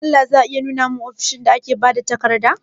Don Allah za a iya nuna mani ofishin magatakarda?